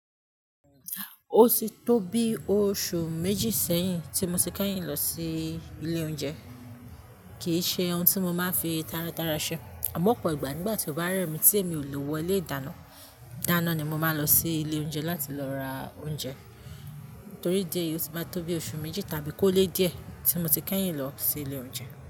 O ti tó bí oṣù méjì sẹ́yìn tí mo ti kẹ́yìn lọ sí ilé oúnjẹ. Kì í ṣe ohun tí mo máa ń fi tára tára ṣe. Àmọ́ ọ̀pọ̀ ìgbà nígbà tí ó bá rẹ̀ mí tí èmi ò lè wọ ilé ìdáná, dáná ni mo máa lọ sí ilé oúnjẹ láti lọ ra oúnjẹ. Torí dí eyi oti má tó bi oṣù méjì tàbí kó lé di ẹ́ tí mo ti kẹ́yìn lọ sí ilé oúnjẹ.